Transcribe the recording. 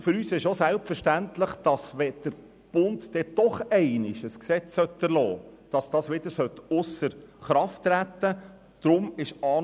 Für uns ist es selbstverständlich, dass das Gesetz wieder ausser Kraft gesetzt würde, wenn der Bund irgendwann doch noch eine nationale Gesetzgebung erliesse.